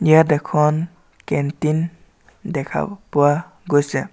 ইয়াত এখন কেণ্টিন দেখা পোৱা গৈছে।